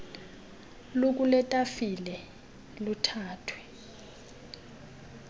lukule tafile luthathwe